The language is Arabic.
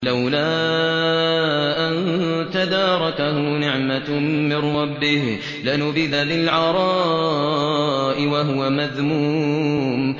لَّوْلَا أَن تَدَارَكَهُ نِعْمَةٌ مِّن رَّبِّهِ لَنُبِذَ بِالْعَرَاءِ وَهُوَ مَذْمُومٌ